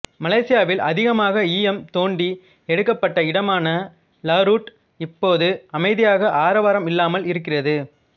மலேசியாவில் அதிகமாக ஈயம் தோண்டி எடுக்கப் பட்ட இடமான லாருட் இப்போது அமைதியாக ஆரவாரம் இல்லாமல் இருக்கிறது